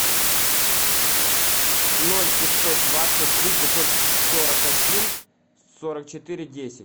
ноль пятьсот двадцать три пятьсот сорок один сорок четыре десять